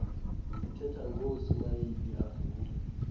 sithetha ngoosmayili avule